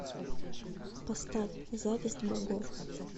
поставь зависть богов